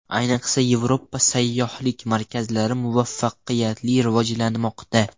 Ayniqsa Yevropa sayyohlik markazlari muvaffaqiyatli rivojlanmoqda.